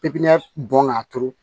Pipiniyɛri bɔn k'a turu